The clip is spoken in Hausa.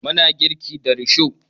Muna girki da risho